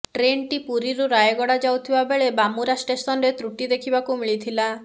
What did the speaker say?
ଟ୍ରେନ୍ଟି ପୁରୀରୁ ରାୟଗଡ଼ା ଯାଉଥିବା ବେଳେ ବାମୁରା ଷ୍ଟେସନ୍ରେ ତ୍ରୁଟି ଦେଖିବାକୁ ମିଳିଥିଲା